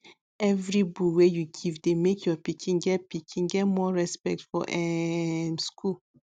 every bull wey you give dey make your pikin get pikin get more respect for um school